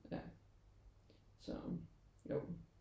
Ja så jo